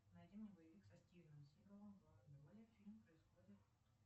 найди мне боевик со стивеном сигалом в главной роли фильм происходит